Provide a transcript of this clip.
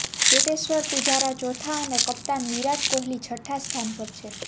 ચેતેશ્વર પૂજારા ચોથા અને કપ્તાન વિરાટ કોહલી છઠ્ઠા સ્થાન પર છે